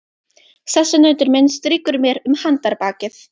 Sessunautur minn strýkur mér um handarbakið.